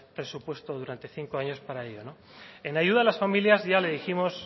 presupuesto durante cinco años para ello no en ayuda a las familias ya le dijimos